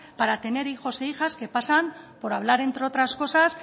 para tener hijos e hijas que pasan por hablar entre otras cosas